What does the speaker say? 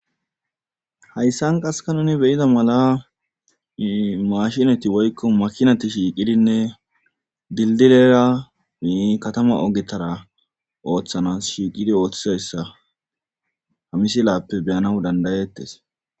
Hayssan qaskka nu be7ida mala maashineti woykko makinati shiiqidinne dilddilera katama ogetara oothanaas shiiqidi oothizayssa ha misilaape beyanaw danddauettees